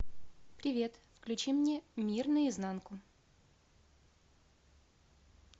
привет включи мне мир наизнанку